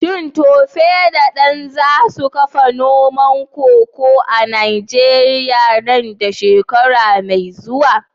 Shin Tope da Dan za su kafa noman koko a Najeriya nan da shekara mai zuwa?